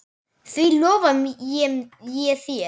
Því lofa ég þér